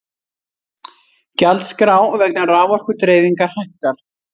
Gjaldskrá vegna raforkudreifingar hækkar